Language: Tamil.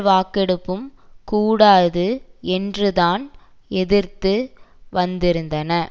வாக்கெடுப்பும் கூடாது என்றுதான் எதிர்த்து வந்திருந்தன